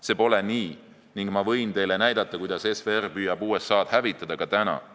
See pole nii ning ma võin teile näidata, kuidas SVR püüab USA-d hävitada ka täna.